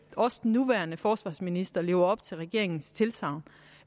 også den nuværende forsvarsminister lever op til regeringens tilsagn